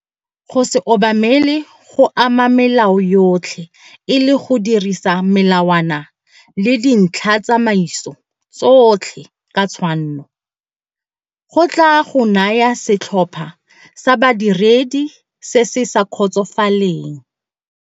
Go se obamele go ama melao yotlhe e le go dirisa melawana le dintlhatsamaiso tsotlhe ka tshwanno go tlaa go naya setlhopha sa badiredi se se sa kgotsofaleng.